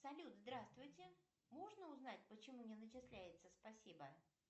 салют здравствуйте можно узнать почему не начисляется спасибо